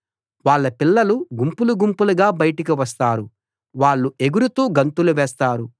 వాళ్ళ పిల్లలు గుంపులు గుంపులుగా బయటికి వస్తారు వాళ్ళు ఎగురుతూ గంతులు వేస్తారు